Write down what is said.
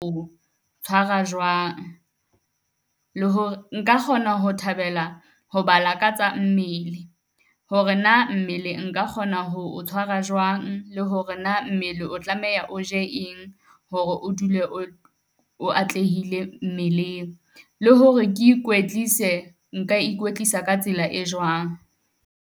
O tshwara jwang, le hore nka kgona ho thabela ho ba lakatsa mmele hore na mmele nka kgona ho tshwara jwang le hore hore na mmele o tlameha o je eng hore o dule o o atlehile mmeleng. Le hore ke ikwetlise, nka ikwetlisa ka tsela e jwang.